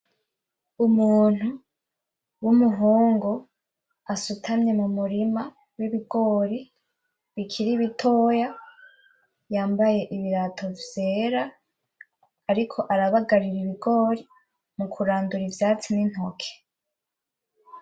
Umuntu w'umuhungu, asutamye mu murima w'ibigori bikiri bitoya, yambaye ibirato vyera, ariko arabagarira ibigori, mukurandura ivyatsi n'intoke.